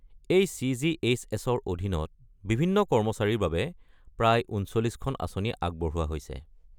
এই চি.জি.এইচ.এছ.-ৰ অধীনত বিভিন্ন কৰ্মচাৰীৰ বাবে প্ৰায় ৩৯খন আঁচনি আগবঢ়োৱা হৈছে।